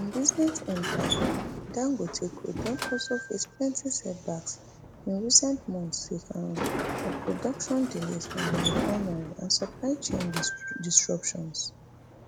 im business empire di dangote group don also face plenty setbacks in recent months sake um of production delays for im refinery and supply chain disruptions